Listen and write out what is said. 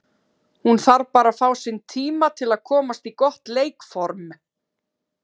Hún þarf bara að fá sinn tíma til að komast í gott leikform.